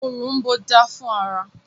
Òrom̀bó dáa fún ara.